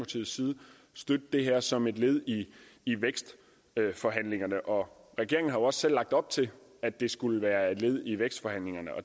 støtte det her som et led i vækstforhandlingerne og regeringen har jo også selv lagt op til at det skulle være et led i vækstforhandlingerne